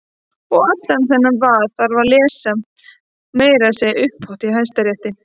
Og allan þennan vaðal þarf að lesa- meira að segja upphátt í Hæstarétti!